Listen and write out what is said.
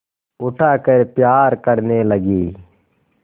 उठाकर प्यार करने लगी